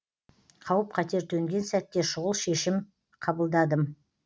қауіп қатер төнген сәтте шұғыл шешім қабылдадым